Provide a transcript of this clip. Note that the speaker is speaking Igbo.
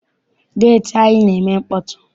Geeti anyi na-eme mkpọtụ.